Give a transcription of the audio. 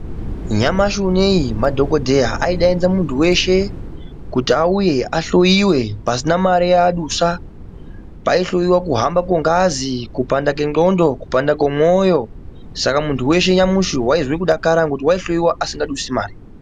Nyamashi unoi madhogodheya aidzaidza muntu weshe kuti auye ahloyiwe pasina mare yaadusa. Paihloyiwa kuhamba kongazi, kupanda kwendxondo, kupanda kwemwoyo. Saka muntu weshe waidakara nyamashi ngokuti waihloyiwa asingadusi mare.